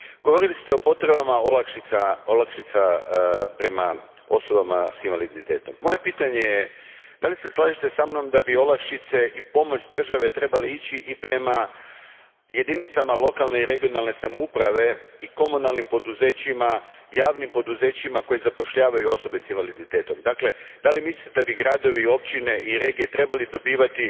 Govorili ste o potrebama olakšica za osobe s invaliditetom. Moje pitanje je slažete li se sa mnom da bi olakšice i pomoć države trebali ići i prema jedinicama lokalne i regionalne samouprave i komunalnim poduzećima, javnim poduzećima koja zapošljavaju osobe s invaliditetom? Dakle, mislite li da bi gradovi, općine i regije trebali isto tako dobivati